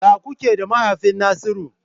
Ya kuke da mahaifin Nasiru?